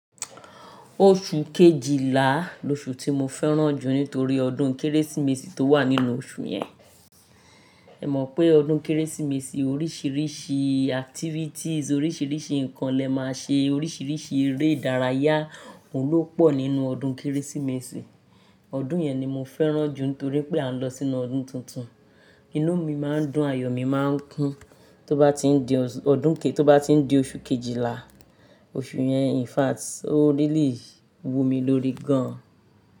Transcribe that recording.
Oṣù kejìlá, ni oṣù tí mo fẹ́ràn jù nítorí ọdún Kérésìmesì tó wà nínú oṣù yẹn. Ẹ mọ̀ pé ọdún Kérésìmesì oríṣiríṣi activities, oríṣiríṣi nǹkan lẹ máa ṣe oríṣiríṣi eré ìdárayá oun lo po nínú ọdún Kérésìmesì. Ọdún yẹn ni mo fẹ́ràn jù nítorí pé à ń lọ sínú ọdún tuntun. Inú mi máa ń dùn, ayọ̀ mi máa ń kún. Tó bá ti ń di oṣù, tó bá ti ń di oṣù kejìlá, oṣù yẹn in fact ó n really wu mi lórí gan.